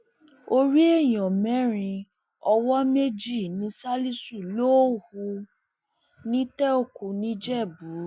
orí èèyàn mẹrin owó méjì ni ṣálíṣù lọọ hù nítẹòkú nìjẹbù